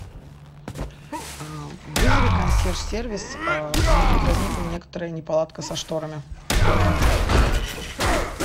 вызови консьерж сервис у меня тут возникла некоторая неполадка со шторами в номере